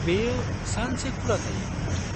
-बेयो सानसे खुला थायो।